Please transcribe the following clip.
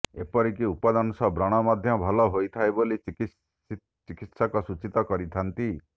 ଏପରିକି ଉପଦଂଶ ବ୍ରଣ ମଧ୍ୟ ଭଲ ହୋଇଥାଏ ବୋଲି ଚିକିତ୍ସକ ସୂଚିତ କରିଥାନ୍ତି